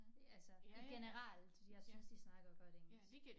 Altså i generelt jeg synes de snakker godt engelsk